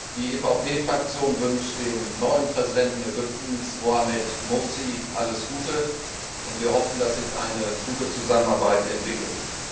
Die EVP Fraktion wünscht dem neuen Präsidenten Ägyptens, Mohammed Mursi, alles Gute, und wir hoffen, dass sich eine gute Zusammenarbeit entwickelt.